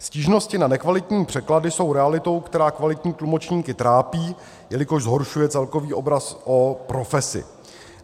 Stížnosti na nekvalitní překlady jsou realitou, která kvalitní tlumočníky trápí, jelikož zhoršuje celkový obraz o profesi.